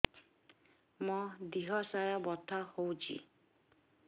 ମୋ ଦିହସାରା ବଥା ହଉଚି